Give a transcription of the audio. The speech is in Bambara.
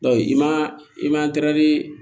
i ma i man